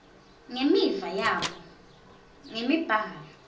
nemiva yabo ngemibhalo